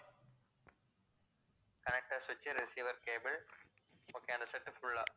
connector switch, receiver cable okay அந்த setfull ஆ